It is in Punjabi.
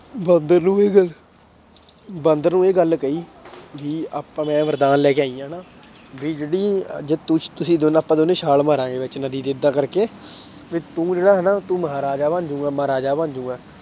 ਬਾਂਦਰ ਨੂੰ ਵੀ ਬਾਂਦਰ ਨੂੰ ਇਹ ਗੱਲ ਕਹੀ ਵੀ ਆਪਾਂ ਮੈਂ ਵਰਦਾਨ ਲੈ ਆਈ ਹਾਂ ਨਾ ਵੀ ਜਿਹੜੀ ਜੇ ਤੁੁਸ ਤੁਸੀਂ ਦੋਨ ਆਪਾਂ ਦੋਨੇ ਛਾਲ ਮਾਰਾਂਗੇ ਵਿੱਚ ਨਦੀ ਦੇ ਏਦਾਂ ਕਰਕੇ ਵੀ ਤੂੰ ਜਿਹੜਾ ਹਨਾ ਤੂੰ ਮਹਾਰਾਜਾ ਬਣ ਜਾਏਂਗਾ ਮਹਾਰਾਜਾ ਬਣ ਜਾਏਂਗਾ।